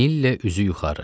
Nillə üzü yuxarı.